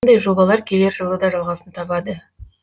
мұндай жобалар келер жылы да жалғасын табады